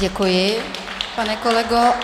Děkuji, pane kolego.